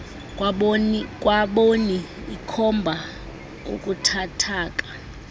kwaboni ikhomba ubuthathaka